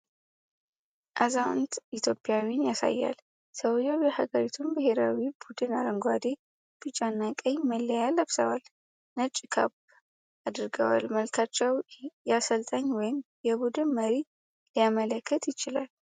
አዛውንት ኢትዮጵያዊን ያሳያል። ሰውየው የሀገሪቱን ብሔራዊ ቡድን አረንጓዴ፣ ቢጫና ቀይ መለያ ለብሰዋል። ነጭ ካፕ አድርገዋል። መልካቸው የአሰልጣኝ ወይም የቡድን መሪን ሊያመለክት ይችላል።